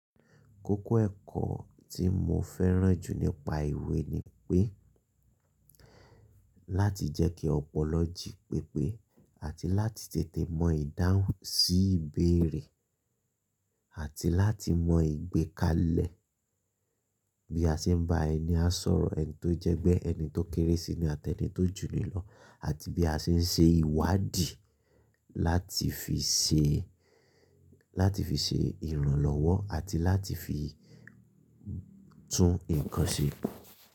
Kókó ẹ̀kọ́ tí mo fẹ́ràn jù nípa ìwé ni pé láti jẹ́ kí ọpọlọ jí pépé àti láti tètè mọ ìdáhùn sí ìbéèrè àti láti mọ ìgbékalẹ̀ bí a ṣe ń bá ẹni á sọ̀rọ̀ ẹni tó jẹ́ pé ẹni tó kéré síi ní àtẹ eni tó jù ni lọ àti bí a ṣe ń ṣe ìwádìí láti fi ṣe, láti fi ṣe ìrànlọ́wọ́ àti láti fi tún nǹkan ṣe.